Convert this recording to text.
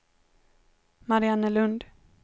Mariannelund